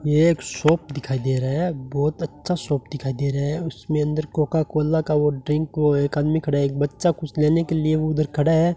एक शॉप दिखाई दे रहा है बहुत अच्छा शॉप दिखाई दे रहा है उसमें अंदर कोका कोला का वो ड्रिंक को एक आदमी खड़ा एक बच्चा कुछ लेने के लिए उधर खड़ा है।